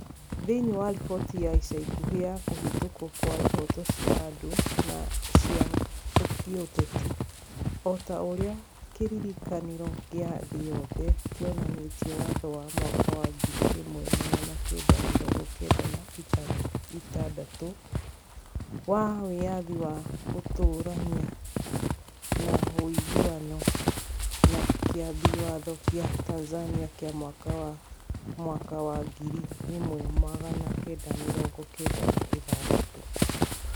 Thĩinĩ wa riboti ya ica ikuhĩ ya kũhĩtũkwo kwa ihooto cia andũ na cia gĩũteti, o ta ũrĩa kĩrĩĩkanĩro gĩa thĩ yothe kĩonanĩtie watho wa mwaka wa ngiri ĩmwe magana kenda mĩrongo kenda na ĩtandatũ wa Wĩyathi wa Gũtũũrania na Ũiguano, na Kĩambi Watho kĩa Tanzania kĩa mwaka wa mwaka wa ngiri ĩmwe magana kenda mĩrongo kenda na ithathatũ.